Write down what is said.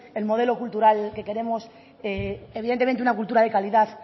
el modelo cultural que queremos evidentemente una cultura de calidad